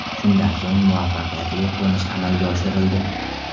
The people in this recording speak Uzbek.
Shundan so‘ng muvaffaqiyatli qo‘nish amalga oshirildi.